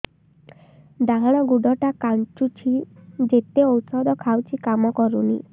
ଡାହାଣ ଗୁଡ଼ ଟା ଖାନ୍ଚୁଚି ଯେତେ ଉଷ୍ଧ ଖାଉଛି କାମ କରୁନି